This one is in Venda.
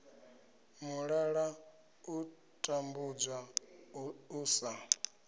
mulala u tambudzwa u sa